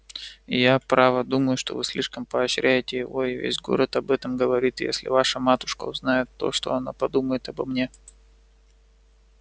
я право думаю что вы слишком поощряете его и весь город об этом говорит и если ваша матушка узнает то что она подумает обо мне